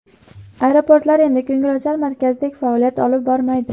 Aeroportlar endi ko‘ngilochar markazdek faoliyat olib bormaydi.